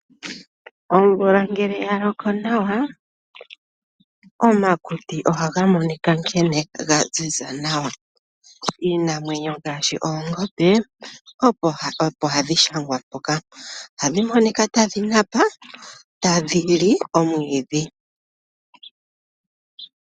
Omvula ngele yaloko nawa omakuti ohaga monika nkene gaziza nawa, iinamwenyo ngaashi oongombe opo hadhi shangwa mpoka, ohadhi monika tadhi napa tadhi li omwiidhi.